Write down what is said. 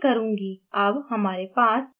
ok button पर click करें